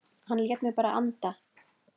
Hann lét mig bara anda.